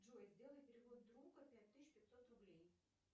джой сделай перевод другу пять тысяч пятьсот рублей